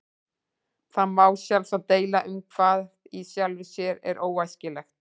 Það má sjálfsagt deila um hvað í sjálfu sér er óæskilegt.